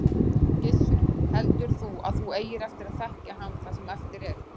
Gissur: Heldur þú að þú eigir eftir að þekkja hann það sem eftir er?